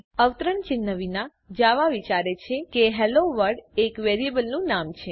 અવતરણ ચિહ્ન વિના જાવા વિચારે છે કે હેલોવર્લ્ડ એક વેરીએબલનું નામ છે